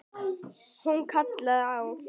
Hún kallaði á